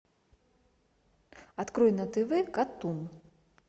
открой на тв катун